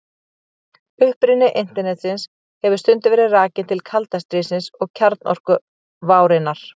Uppruni Internetsins hefur stundum verið rakinn til kalda stríðsins og kjarnorkuvárinnar.